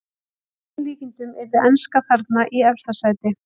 Að öllum líkindum yrði enska þarna í efsta sæti.